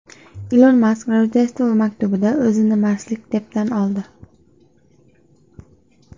Ilon Mask Rojdestvo maktubida o‘zini marslik deb tan oldi.